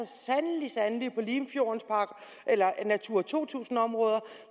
sandelig sandelig passer på limfjorden eller natura to tusind områder